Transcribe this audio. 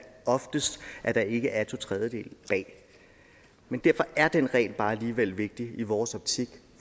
oftest at der ikke er to tredjedele bag men derfor er den regel alligevel bare vigtig i vores optik